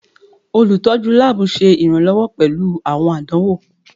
Olutọju laabu ṣe iranlọwọ pẹlu awọn àdánwò.